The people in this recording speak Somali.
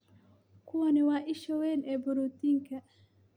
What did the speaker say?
Kuwani waa isha weyn ee borotiinka.